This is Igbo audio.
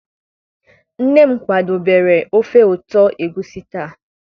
nne m kwadebere ofe ụtọ egusi taa.